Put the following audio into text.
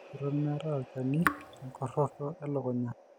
eton meetae olchani le nkuroto e lukunya.